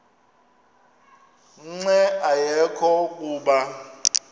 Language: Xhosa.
nqe ayekho kuba